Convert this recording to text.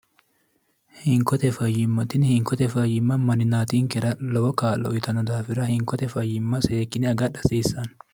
hinkote fayyimmatinni hinkote fayyimma manninaatinkera lowo kaa'lo uyitanno daafira hinkote fayyimma seekine agadha hasiissanno